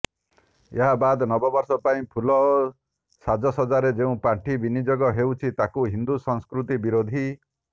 ଏହାବାଦ ନବବର୍ଷ ପାଇଁ ଫୁଲ ଓ ସାଜସଜାରେ ଯେଉଁ ପାଣ୍ଠି ବିନିଯୋଗ ହେଉଛି ତାହା ହିନ୍ଦୁ ସଂସ୍କୃତି ବିରୋଧୀ